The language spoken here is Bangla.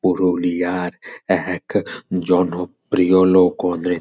পুরুলিয়ার এক জনপ্রিয় লোক হলেন।